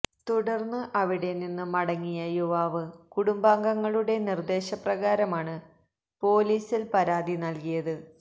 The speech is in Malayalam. തുടര്ന്ന് അവിടെനിന്ന് മടങ്ങിയ യുവാവ് കുടുംബാംഗങ്ങളുടെ നിര്ദേശപ്രകാരമാണ് പോലീസില് പരാതി നല്കിയത്